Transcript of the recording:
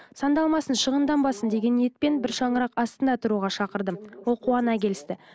сандалмасын шығынданбасын деген ниетпен бір шаңырақ астында тұруға шақырдым ол қуана келісті